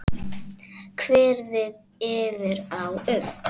Kveðið yrði á um